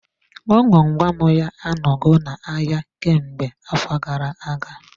Akwụkwọ gwam gwam gwam ya a n'ogo na-ahịa kemgbe afọ gara-aga.